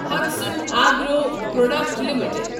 Hatsun agro product limited